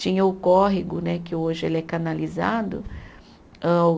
Tinha o córrego né, que hoje ele é canalizado. Âh